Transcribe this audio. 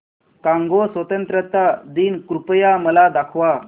Congo स्वतंत्रता दिन कृपया मला दाखवा